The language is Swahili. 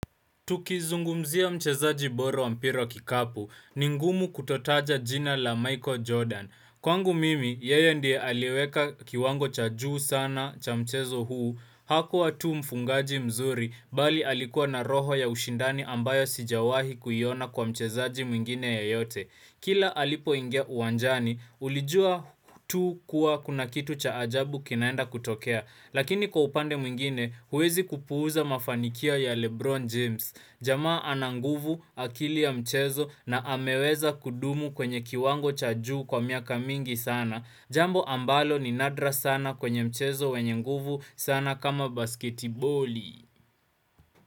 Tuki zungumzia mchezaji bora wa mpira wa kikapu, ni ngumu kutotaja jina la Michael Jordan. Kwangu mimi, yeye ndiye aliweka kiwango cha juu sana cha mchezo huu, hakuwa tu mfungaji mzuri, bali alikuwa na roho ya ushindani ambayo sijawahi kuyiona kwa mchezaji mwingine ya yote. Kila alipo ingia uwanjani, ulijua tu kuwa kuna kitu cha ajabu kinaenda kutokea, lakini kwa upande mwingine, uwezi kupuza mafanikia ya Lebron James. Jamaa ana nguvu akili ya mchezo na ameweza kudumu kwenye kiwango cha juu kwa miaka mingi sana. Jambo ambalo ni nadra sana kwenye mchezo wenye nguvu sana kama basketi boli.